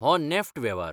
हो नॅफ्ट वेव्हार.